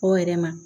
O yɛrɛ ma